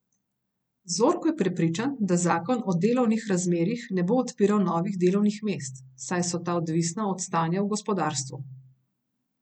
Zorko je prepričan, da zakon o delovnih razmerjih ne bo odpiral novih delovnih mest, saj so ta odvisna od stanja v gospodarstvu.